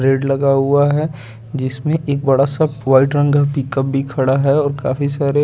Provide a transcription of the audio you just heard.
gate लगा हुआ है जिसमे एक बड़ा सा वाइट रंग का पिकअप भी खड़ा है और काफी सारे --